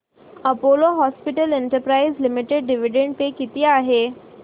Apollo hospitals enterprise limited dividend पे किती आहे